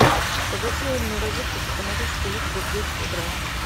погаси умную розетку с автоматической люстрой в десять утра